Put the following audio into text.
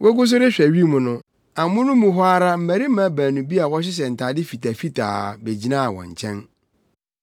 Wogu so rehwɛ wim no, amono mu hɔ ara mmarima baanu bi a wɔhyehyɛ ntade fitafitaa begyinaa wɔn nkyɛn,